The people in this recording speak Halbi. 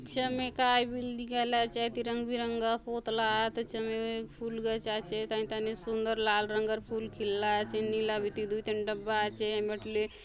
छमे काय बिल्डिंग आय आले आचे हती रंग बिरंगा पोतला आत झमे फूल गच आछे हाय थाने सुन्दर लाल रंगर फूल खिलला आचे नीला बीती दूय ठन डब्बा आचे हय बाट ले --